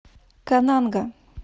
кананга